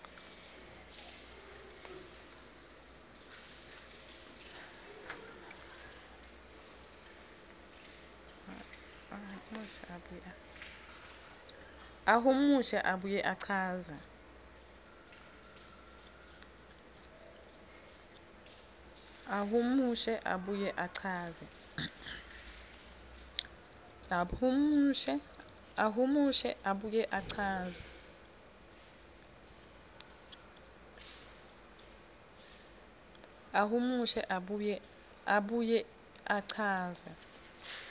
ahumushe abuye achaze